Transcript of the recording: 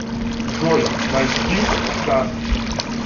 джой найти старт